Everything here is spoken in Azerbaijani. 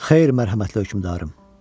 Xeyr, mərhəmətli hökümdarım.